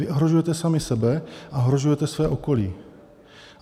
Vy ohrožujete sami sebe a ohrožujete své okolí.